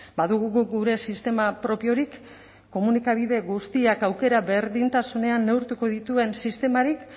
badugu guk gure sistema propiorik komunikabide guztiak aukera berdintasunean neurtuko dituen sistemarik